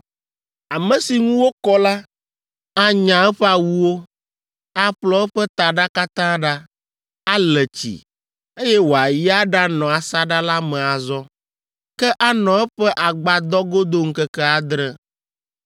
“Ame si ŋu wokɔ la, anya eƒe awuwo, aƒlɔ eƒe taɖa katã ɖa, ale tsi, eye wòayi aɖanɔ asaɖa la me azɔ. Ke anɔ eƒe agbadɔ godo ŋkeke adre.